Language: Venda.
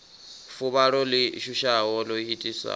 fuvhalo ḽi shushaho ḽo itisaho